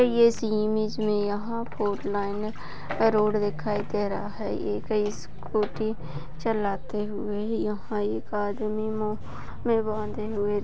इस ईमेज़ मे यहाँ फोर लाईन रोड दिखाई दे रहा है एक स्कूटी चलाते हुए यह एक आदमी मुँह मे बांदे हुए--